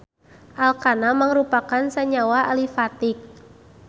Alkana mangrupakeun sanyawa alifatik.